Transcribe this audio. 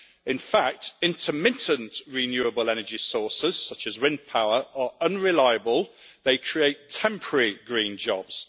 In fact, intermittent renewable energy sources, such as wind power, are unreliable they create temporary green jobs.